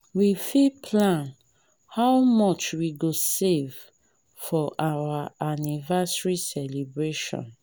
we fit plan how much we go save for our anniversary celebration.